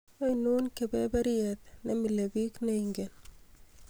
ainon kaberberet nemilebik neingen